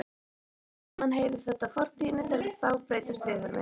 Smám saman heyrir þetta fortíðinni til og þá breytast viðhorfin.